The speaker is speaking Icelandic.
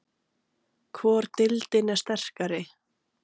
Hvor deildin er sterkari?